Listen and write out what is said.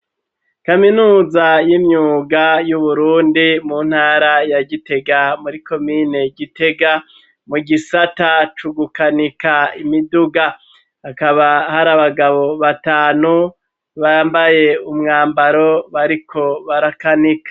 Kaminuza y'imyuga y'uburundi mu ntara ya gitega ,muri komine gitega ,mu gisata cugukanika imiduga ,akaba hari abagabo batanu, bambaye umwambaro ,bariko barakanika.